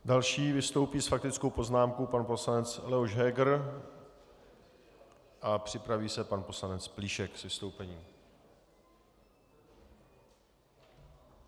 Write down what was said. Další vystoupí s faktickou poznámkou pan poslanec Leoš Heger a připraví se pan poslanec Plíšek s vystoupením.